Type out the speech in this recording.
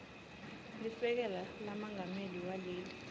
lisekela lamengameli waleli